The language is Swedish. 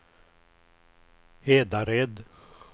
Hedared